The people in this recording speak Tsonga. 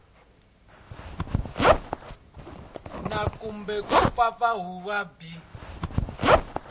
na kumbe ku pfapfarhutiwa byi